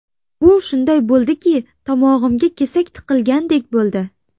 Bu shunday bo‘ldiki... Tomog‘imga kesak tiqilgandek bo‘ldi.